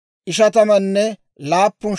Yooseefo na'aa Minaasa 32,200;